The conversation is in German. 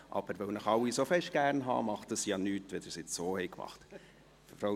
Aber, weil ich Sie alle so fest gernhabe, macht es ja nichts, dass Sie es jetzt so gemacht haben.